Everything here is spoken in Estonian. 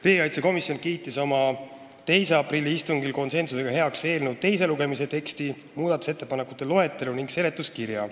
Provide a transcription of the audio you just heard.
Riigikaitsekomisjon kiitis oma 2. aprilli istungil heaks eelnõu teise lugemise teksti, muudatusettepanekute loetelu ja seletuskirja.